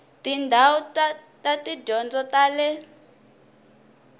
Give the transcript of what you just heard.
tindhawu ta tidyondzo ta le